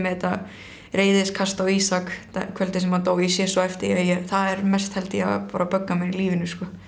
þetta á Ísak kvöldið sem hann dó ég sé svo eftir því það er mest held ég bara að bögga mig í lífinu